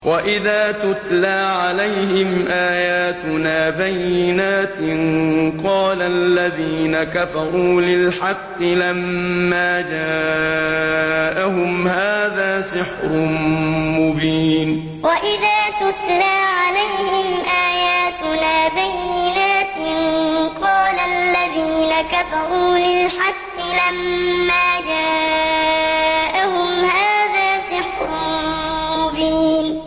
وَإِذَا تُتْلَىٰ عَلَيْهِمْ آيَاتُنَا بَيِّنَاتٍ قَالَ الَّذِينَ كَفَرُوا لِلْحَقِّ لَمَّا جَاءَهُمْ هَٰذَا سِحْرٌ مُّبِينٌ وَإِذَا تُتْلَىٰ عَلَيْهِمْ آيَاتُنَا بَيِّنَاتٍ قَالَ الَّذِينَ كَفَرُوا لِلْحَقِّ لَمَّا جَاءَهُمْ هَٰذَا سِحْرٌ مُّبِينٌ